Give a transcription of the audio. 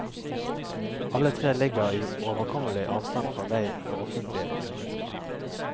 Alle tre ligger i overkommelig avstand fra vei og offentlige kommunikasjoner.